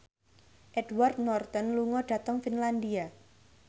Edward Norton lunga dhateng Finlandia